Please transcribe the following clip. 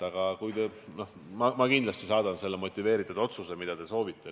Aga ma kindlasti saadan teile selle otsuse motiivid, mida te soovite.